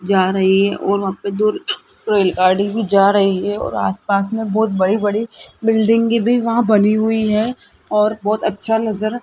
जा रही है और वहां पे दूर रेलगाड़ी भी जा रही है और आसपास में बहुत बड़ी बड़ी बिल्डिंगे भी वहां बनी हुई है और बहोत अच्छा नजर --